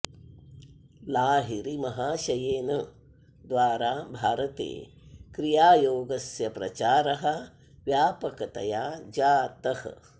लाहिरि महाशयेन द्वारा भारते क्रियायोगस्य प्रचारः व्यापकतया जातः